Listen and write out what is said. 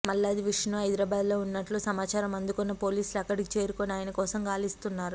మల్లాది విష్ణు హైదరాబాద్ లో ఉన్నట్లు సమాచారం అందుకొన్న పోలీసులు అక్కడికి చేరుకొని ఆయన కోసం గాలిస్తున్నారు